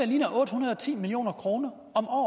ligner otte hundrede og ti million kroner